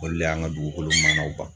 Olu le y'an ka dugukolo mana ban.